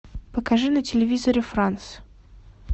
покажи на телевизоре франс